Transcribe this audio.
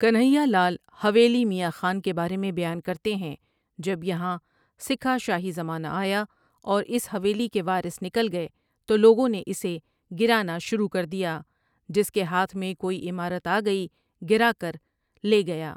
کنہا لال حویلی میاں خان کے بارے میں بیان کرتے ہیں ٴٴجب یہاں سکھا شاہی زمانہ آیا اور اس حویلی کے وارث نکل گئے تو لوگوں نے اسے گرانا شروع کر دیا جس کے ہاتھ میں کوئی عمارت آگئی گرا کر لے گیا۔